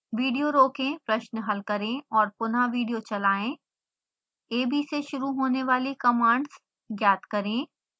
video रोकें प्रश्न हल करें और पुनः विडियो चलाएं ab से शुरू होने वाली कमांड्स ज्ञात करें